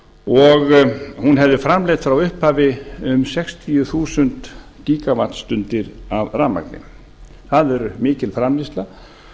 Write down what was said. og hún hefði framleitt frá upphafi um sextíu þúsund gíga vattstundir af rafmagni það er mikil framleiðsla